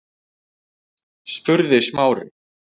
spurði Smári.